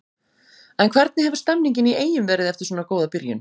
En hvernig hefur stemningin í Eyjum verið eftir svona góða byrjun?